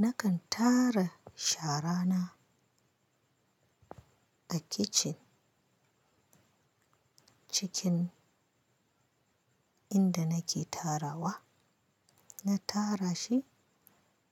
Nakan tara shara na a kicin, cikin inda nake tarawa. Na tara shi